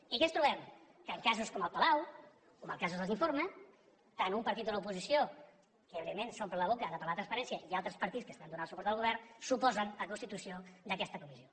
i què ens trobem que en casos com el palau com en els casos dels informes tant un partit de l’oposició que evidentment s’omple la boca de parlar de transparència com altres partits que estan donant suport al govern s’oposen a la constitució d’aquesta comissió